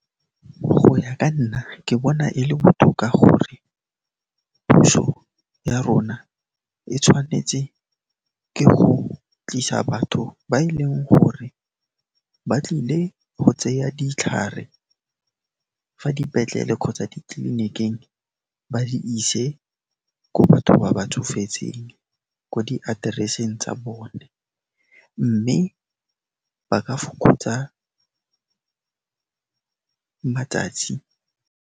Go ya ka nna, ke bona e le botoka gore puso ya rona e tshwanetse ke go tlisa batho ba e leng gore ba tlile go tseya ditlhare fa dipetlele kgotsa ditleliniking ba di ise ko batho ba ba tsofetseng, ko di atereseng tsa bone, mme ba ka fokotsa matsatsi.